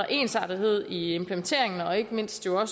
ensartethed i implementeringen og ikke mindst jo